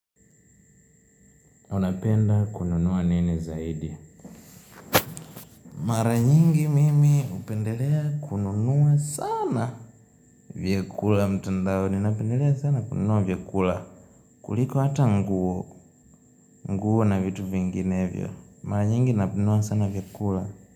Unapenda kununua nini zaidi? Maranyingi mimi hupendelea kununua sana vyukula mtandao. Ninapendelea sana kununua vyakula. Kuliko hata nguo. Nguo na vitu vinginevyo. Maranyingi napendua sana vyekula.